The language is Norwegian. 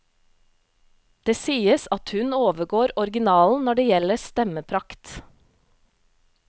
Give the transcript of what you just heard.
Det sies at hun overgår originalen når det gjelder stemmeprakt.